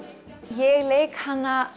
ég leik hana